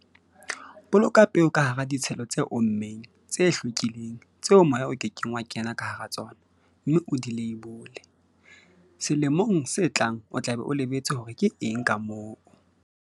Boloka peo ka hara ditshelo tse ommeng, tse hlwekileng, tseo moya o ke keng wa kena ka hara tsona, mme o di leibole, selemong se tlang o tla be o lebetse hore ke eng ka moo.